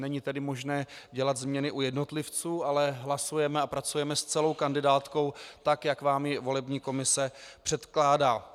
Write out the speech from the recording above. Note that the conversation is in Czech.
Není tedy možné dělat změny u jednotlivců, ale hlasujeme a pracujeme s celou kandidátkou tak, jak vám ji volební komise předkládá.